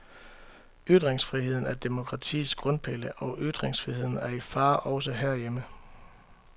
Ytringsfriheden er demokratiets grundpille, og ytringsfriheden er i fare, også herhjemme.